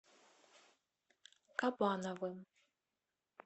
кабановым